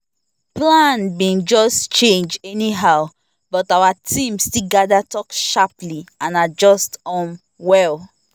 plan been just change anyhow but our team still gather talk sharply and adjust um well